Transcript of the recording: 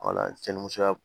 musoya